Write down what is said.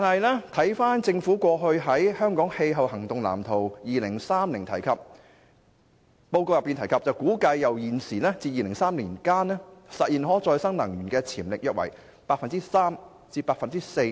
可是，政府過去在《香港氣候行動藍圖 2030+》報告中，提到估計由現時至2030年間，香港實現可再生能源的潛力約為 3% 至 4%。